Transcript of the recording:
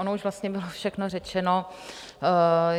Ono už vlastně bylo všechno řečeno.